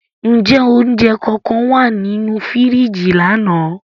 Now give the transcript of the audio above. Njẹ ounjẹ kankan wa ninu firiji lana?